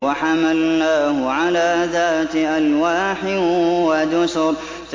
وَحَمَلْنَاهُ عَلَىٰ ذَاتِ أَلْوَاحٍ وَدُسُرٍ